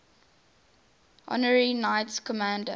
honorary knights commander